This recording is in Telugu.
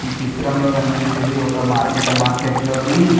ఈ చిత్రంలో కన్పించేది ఒక మార్కెట్ ఆ మార్కెట్ లోని --